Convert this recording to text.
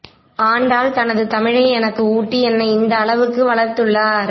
ஆண்டாள் தனது தமிழை எனக்கு ஊட்டி என்னை இந்த அளவுக்கு வளர்த்துள்ளார்